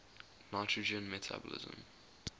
nitrogen metabolism